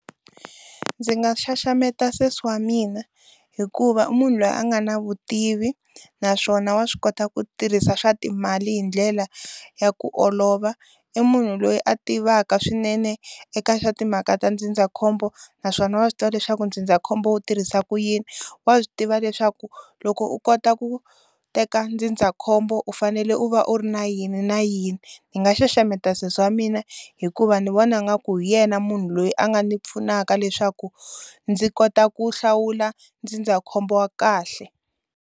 Ndzi nga xaxameta sesi wa mina hikuva munhu loyi a nga na vutivi naswona wa swi kota ku tirhisa swa timali hi ndlela ya ku olova i munhu loyi a tivaka swinene eka swa timhaka ta ndzindzakhombo naswona wa swi tiva leswaku ndzindzakhombo wu tirhisa ku yini wa swi tiva leswaku loko u kota ku teka ndzindzakhombo u fanele u va u ri na yini na yini ni nga xaxameta sesi wa mina hikuva ni vona nga ku hi yena munhu loyi a nga ni pfunaka leswaku ndzi kota ku hlawula ndzindzakhombo wa kahle.